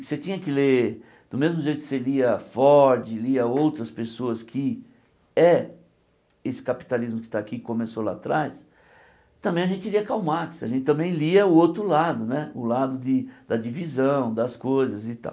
Você tinha que ler, do mesmo jeito que você lia Ford, lia outras pessoas que é esse capitalismo que está aqui, começou lá atrás, também a gente lia Karl Marx, a gente também lia o outro lado né, o lado de da divisão das coisas e tal.